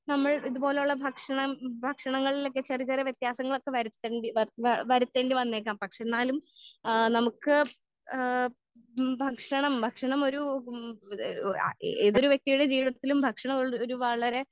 നമ്മൾ ഇതുപോലള്ള ഭക്ഷണം ഭക്ഷണങ്ങളിലൊക്കെ ചെറിയ ചെറിയ വെത്യാസങ്ങളൊക്കെ വരുത്തേണ്ടി വര്ത്ത്ണ വരുത്തേണ്ടി വന്നേക്കാം പക്ഷെ എന്നാലും ആ നമ്മുക്ക് ഏഹ് ഉം ഭക്ഷണം ഭക്ഷണം ഒരു ഉം ഏതൊരു വ്യക്തിയുടെ ജീവിതത്തിലും ഭക്ഷണം ഒരു ഒരു വളരെ